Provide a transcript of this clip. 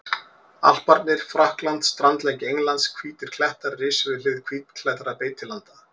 Alparnir, Frakkland, strandlengja Englands, hvítir klettar risu við hlið hvítklæddra beitilanda.